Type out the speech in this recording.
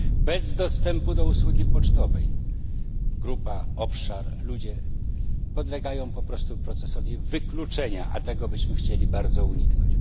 Bez dostępu do usługi pocztowej grupa, obszar, ludzie podlegają po prostu procesowi wykluczenia, a tego byśmy chcieli bardzo uniknąć.